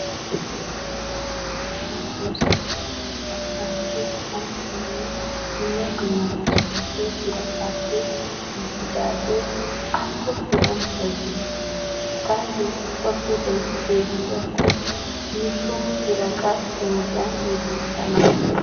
Issi issi kataman oosettiya keettan aattiyo sanqqaynne dumma dumma maskkootee birataappe giigidaagee al"o biran bayzettees. Taayyo ubba biray beettiyakko nu so herega penggiya gelissana.